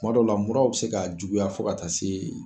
Kuma dɔw la muraw be se ka juguya fo ka taa se